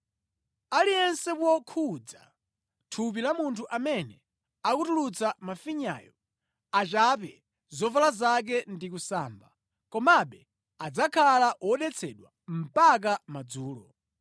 “ ‘Aliyense wokhudza thupi la munthu amene akutulutsa mafinyayo achape zovala zake ndi kusamba. Komabe adzakhala wodetsedwa mpaka madzulo.